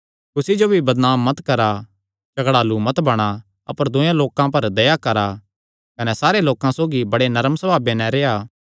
कुसी जो भी बदनाम मत करा झगड़ालू मत बणा अपर दूये लोकां पर दया करा कने सारे लोकां सौगी बड़े नरम सभावे नैं रेह्आ